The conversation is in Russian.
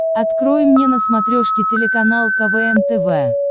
открой мне на смотрешке телеканал квн тв